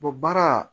baara